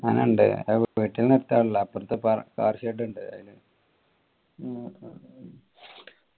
അങ്ങനെ ഇൻഡ് അപ്പാർത്ത car shed